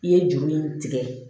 I ye juru in tigɛ